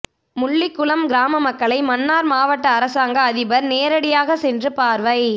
முள்ளிக்குளம் கிராம மக்களை மன்னார் மாவட்ட அரசாங்க அதிபர் நேரடியாக சென்று பார்வை